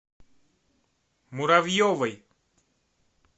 муравьевой